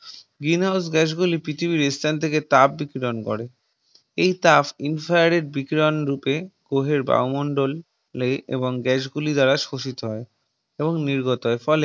Green House Gas গুলি পৃথিবীর এস্থান থেকে তাপ বিতরন করে এই তাপ infrared বিকিরণ রূপে গ্রহের বায়ুমণ্ডল লেগে এবং gas গুলি দ্বারা শোষিত হয়ে এবং নির্গত হয় ফলে